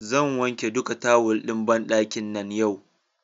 Zan wanke duka tawal ɗin banɗakin nan yau.